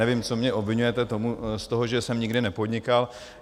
Nevím, co mě obviňujete z toho, že jsem nikdy nepodnikal.